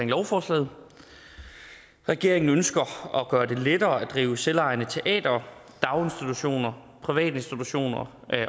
lovforslaget regeringen ønsker at gøre det lettere at drive selvejende teatre daginstitutioner privatinstitutioner